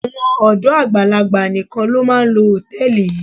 Àwọn ọ̀dọ́ àgbàlagbà nìkan ló máa ń lo hòtẹ́ẹ̀lì yìí.